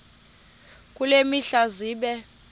kule mihla zibe